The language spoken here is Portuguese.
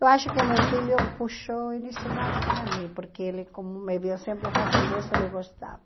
Eu acho que meu filho puxou esse lado para mim, porque ele, como me viu sempre fazendo isso, ele gostava.